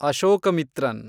Ashokamitran